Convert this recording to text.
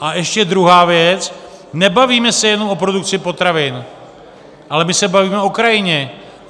A ještě druhá věc, nebavíme se jenom o produkci potravin, ale my se bavíme o krajině.